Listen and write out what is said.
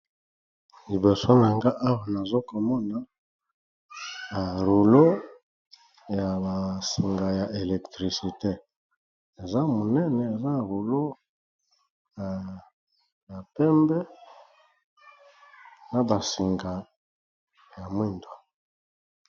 Liboso minge awa nazokomona barulo ya basinga ya elektricité eza monene eza rulo ya pembe, na basinga ya mwindo